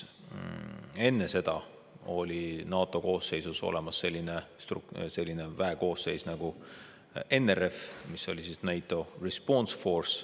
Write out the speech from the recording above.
Enne seda oli NATO koosseisus olemas selline väekoosseis nagu NRF ehk NATO Response Force.